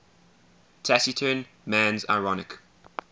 taciturn man's ironic